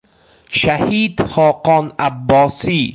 Shahid Xoqon Abbosiy.